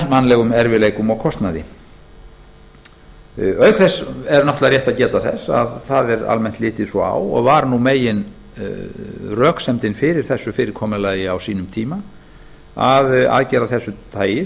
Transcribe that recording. mannlegum erfiðleikum og kostnaði auk þess er náttúrlega rétt að geta þess að það er almennt litið svo á og var meginröksemdin fyrir þessu fyrirkomulagi á sínum tíma að aðgerð að þessu tagi